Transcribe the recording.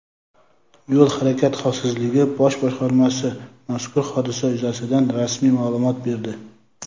Yo‘l harakati xavfsizligi bosh boshqarmasi mazkur hodisa yuzasidan rasmiy ma’lumot berdi.